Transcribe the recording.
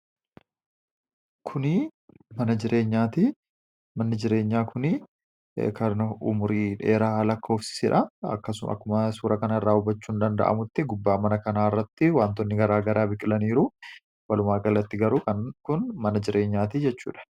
Manni jireenyaa kuni kan umurii dheeraa lakkoofsisanidha. Akkasuma akkuma suura kana irraa hubachuun danda'amutti gubbaa mana kanaa irratti wantoonni gara garaa biqilaniiru walumaa gallatti garuu kun mana jireenyaati jechuudha.